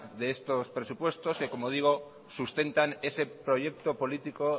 de estos presupuestos que como digo sustentan ese proyecto político